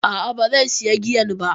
A'a, ba zai sayi giyan ba.